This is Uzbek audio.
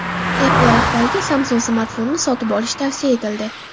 Apple rahbariga Samsung smartfonini sotib olish tavsiya etildi.